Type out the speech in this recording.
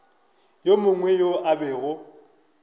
yo mongwe yo a bego